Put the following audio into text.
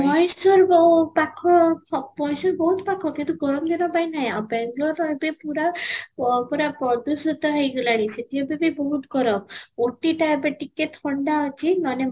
mysore ବହୁତ ପାଖ କିନ୍ତୁ ଗରମ ଦିନ ପାଇଁ ନାହିଁ ଆଉ ବାଙ୍ଗାଲୁରୁ ର ଏବେ ପୁରା ଅ ପୁରା ପ୍ରଦୂଷିତ ହେଇ ଗଲାଣି ସେଠି ଏବେ ବି ବହୁତ ଗରମ scooty ଟା ଏବେ ଟିକେ ଥଣ୍ଡା ଅଛି ମାନେ